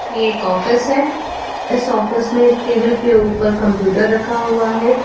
यह एक ऑफिस है इस ऑफिस में एक टेबल के ऊपर कंप्यूटर रखा हुआ है।